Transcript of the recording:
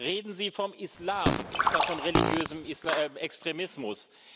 Reden Sie vom Islam statt von religiösem Extremismus!